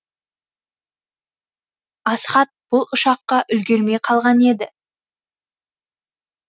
асхат бұл ұшаққа үлгермей қалған еді